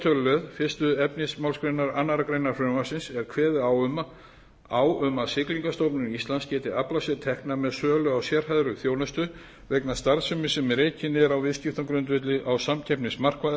tölulið fyrstu efnismgr annarrar greinar frumvarpsins er kveðið á um að siglingastofnun íslands geti aflað sér tekna með sölu á sérhæfðri þjónustu vegna starfsemi sem rekin er á viðskiptagrundvelli á samkeppnismarkaði